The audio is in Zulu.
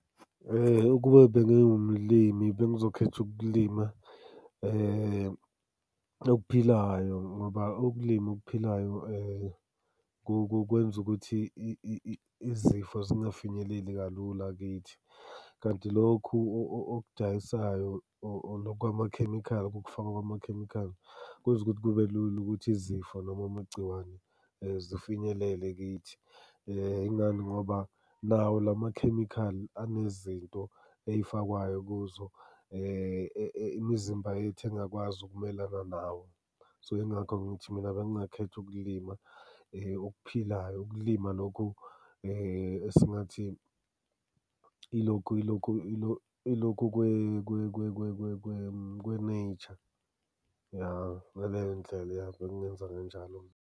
Ukube bengiwumlimi bengizokhetha ukulima okuphilayo ngoba ukulima okuphilayo kukwenza ukuthi izifo zingafinyeleli kalula kithi, kanti lokhu okudayisayo or lokhu kwamakhemikhali okufakwa kwamakhemikhali kwenza ukuthi kube lula ukuthi izifo noma amagciwane zifinyelele kithi. Ingani ngoba nawo la makhemikhali anezinto ey'fakwayo kuzo. Imizimba yethu engakwazi ukumelana nawo. So yingakho ngithi mina bengingakhetha ukulima okuphilayo, ukulima lokhu esingathi ilokhu kwe-nature, ya ngaleyo ndlela uyakhona ukwenza kanjalo.